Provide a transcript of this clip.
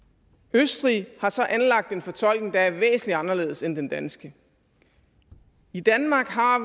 østrig har så anlagt en fortolkning der er væsentlig anderledes end den danske i danmark har